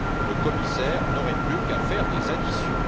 Le commissaire n'aurait plus qu'à faire des additions.